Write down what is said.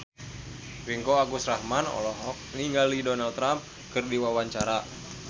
Ringgo Agus Rahman olohok ningali Donald Trump keur diwawancara